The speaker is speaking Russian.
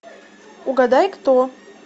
угадай кто